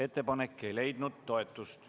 Ettepanek ei leidnud toetust.